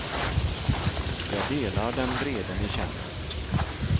Jag delar den vrede ni känner.